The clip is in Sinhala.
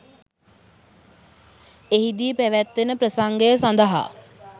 එහිදී පැවැත්වෙන ප්‍රසංගය සඳහා